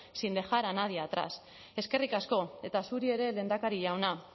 sin dejar a nadie atrás eskerrik asko eta zuri ere lehendakari jauna